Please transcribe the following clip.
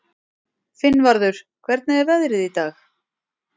Finnvarður, hvernig er veðrið í dag?